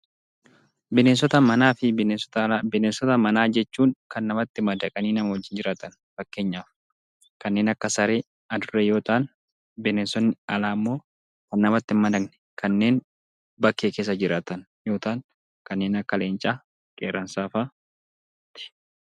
Bineensota manaa fi alaa. Bineensota manaa jechuun kan namatti madaqanii nama waliin jiraataniidha. Fakkeenyaaf kanneen akka Saree fi Adurree yoo ta'an; bineensotni alaa immoo kan namatti hin madaqne kanneen bakkee keessa jiraatan yoo ta'an kanneen akka Leencaa fi Qeerramsaa fa'aati.